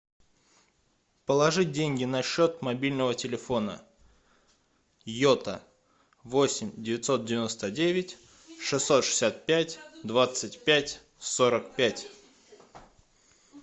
положить деньги на счет мобильного телефона йота восемь девятьсот девяносто девять шестьсот шестьдесят пять двадцать пять сорок пять